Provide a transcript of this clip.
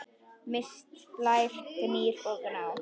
Mist, Blær, Gnýr og Gná.